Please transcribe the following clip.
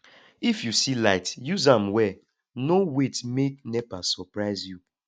if you see light use am well no wait make nepa surprise you